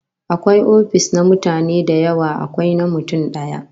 Akwai ofis na mutane da yawa, akwai na mutum daya